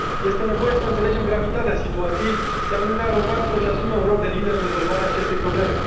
Este nevoie să înțelegem gravitatea situației, iar Uniunea Europeană să își asume un rol de lider în rezolvarea acestei probleme.